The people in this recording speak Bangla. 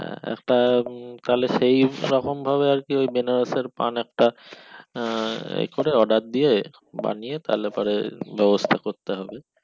হ্যাঁ একটা সেই তেমন ভাবে আরকি বেনারস আর পান একটা আহ এ করে order দিয়ে বানিয়ে তালেপরে ব্যবস্থা করতে হবে